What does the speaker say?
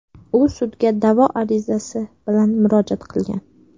U sudga da’vo arizasi bilan murojaat qilgan.